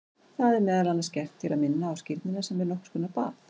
Það er meðal annars gert til að minna á skírnina sem er nokkur konar bað.